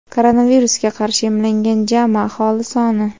koronavirusga qarshi emlangan jami aholi soni:.